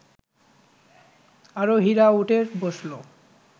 আরোহীরা উঠে বসল